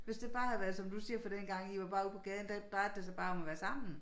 Hvis det bare havde været som du siger for dengang i var bare ude på gaden der drejede det sig bare om at være sammen